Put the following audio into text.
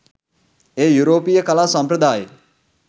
එය යුරෝපීය කලා සම්ප්‍රදායේ